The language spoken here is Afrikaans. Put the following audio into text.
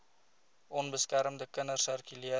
onbeskermde kinders sirkuleer